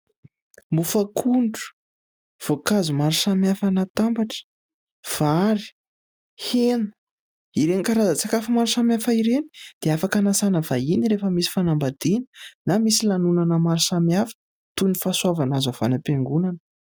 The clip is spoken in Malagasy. Mofo akondro, voankazo maro samihafa natambatra, vary, hena, ireny karazan-tsakafo maro samihafa ireny dia afaka hanasana vahiny rehefa misy fanambadiana na misy lanonana maro samihafa toy ny fahasoavana azo avy any am-piangonana.